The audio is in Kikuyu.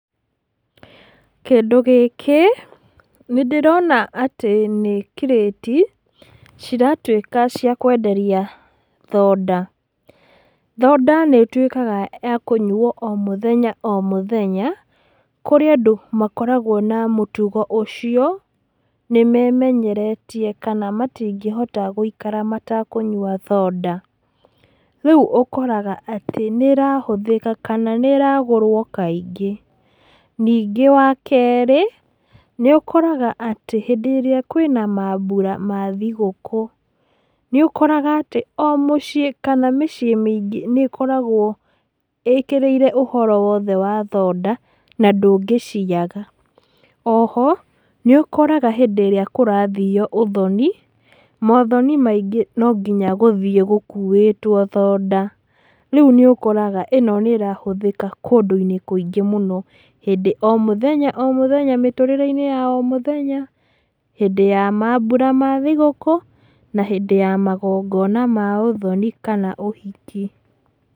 Kĩndũ gĩkĩ, nĩndĩrona atĩ nĩ kirĩti, ciratwĩka cia kwenderia thoda, thoda nĩtwĩkaga ya kũnyuo o mũthenya o mũthenya, kũrĩ andũ makoragwo na mũtugo ũcio, nĩmemenyeretie, kana matingĩhota gũikara matekũnyua thoda, rĩu ũkoraga atĩ nĩrahũthĩka kana nĩragũrwo kaingĩ, ningĩ wa kerĩ, nĩũkoraga atĩ hĩndĩ ĩrĩa kwĩna mambura ma thigũkũ, nĩũkoraga atĩ o mũciĩ, kana mĩciĩ mĩingĩ nĩkoragwo ĩkĩrĩire ũhoro wothe wa thoda, na ndũngĩciaga, oho, níũkoraga hĩndĩ ĩrĩa kũrathio ũthoni, mothoni maingĩ nonginya gũthio gũkuĩtwo thoda, rĩu nĩũkoraga ĩno nĩrahũthĩka kũndũ-inĩ kũingĩ mũno, hĩndĩ o mũthenya o mũthenya mĩtũrĩre-inĩ ya o mũthenya, hĩndĩ ya mambura ma thigũkũ, na hĩndĩ ya magongona ma ũthoni kana ũhiki.